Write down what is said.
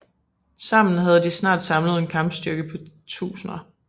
Sammen havde de snart samlet en kampstyrke på tusinder